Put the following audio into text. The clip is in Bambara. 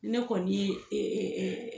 Ne kɔni ee